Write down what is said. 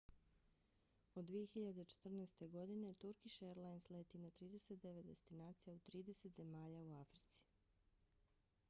od 2014. godine turkish airlines leti na 39 destinacija u 30 zemalja u africi